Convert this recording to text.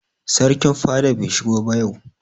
Sarkin fada bai shigo ba yau.